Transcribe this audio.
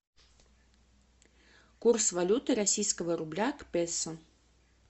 курс валюты российского рубля к песо